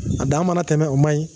A dan mana na tɛmɛn, o ma ɲin.